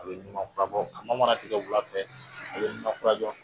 A bɛ ɲumafurabɔ kɔnɔ manan tigɛ wulaŊfɛ a be ɲumankurajɔ